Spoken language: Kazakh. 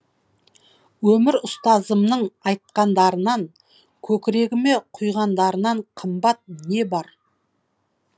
өмір ұстазымның айтқандарынан көкірегіме құйғандарынан қымбат не бар